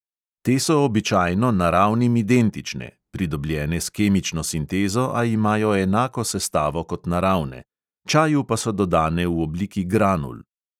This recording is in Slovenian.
Te so običajno naravnim identične (pridobljene s kemično sintezo, a imajo enako sestavo kot naravne), čaju pa so dodane v obliki granul.